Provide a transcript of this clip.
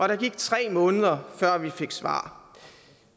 der gik tre måneder før vi fik svar